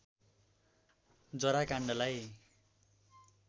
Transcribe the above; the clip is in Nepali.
जरा काण्डलाई